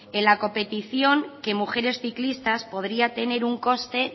en la competición que mujeres ciclistas podría tener un coste